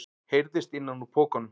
heyrðist innan úr pokanum.